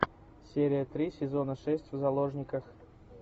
серия три сезона шесть в заложниках